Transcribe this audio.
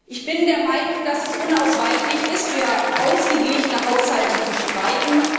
Ich bin der Meinung, dass es unausweichlich ist, für ausgeglichene Haushalte zu streiten.